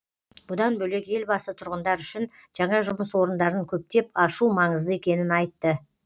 бұдан бөлек елбасы тұрғындар үшін жаңа жұмыс орындарын көптеп ашу маңызды екенін айтты